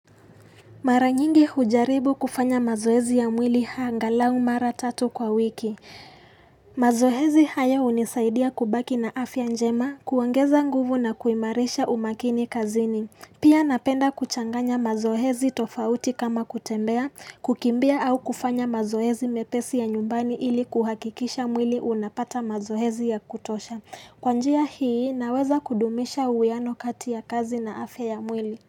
Mara nyingi hujaribu kufanya mazoezi ya mwili angalau mara tatu kwa wiki. Mazoezi haya hunisaidia kubaki na afya njema, kuongeza nguvu na kuimarisha umakini kazini. Pia napenda kuchanganya mazohezi tofauti kama kutembea, kukimbia au kufanya mazohezi mepesi ya nyumbani ili kuhakikisha mwili unapata mazohezi ya kutosha. Kwa njia hii naweza kudumisha uweano kati ya kazi na afya ya mwili.